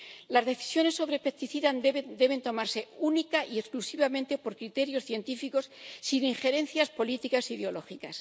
Las decisiones sobre los plaguicidas deben tomarse única y exclusivamente por criterios científicos, sin injerencias políticas e ideológicas.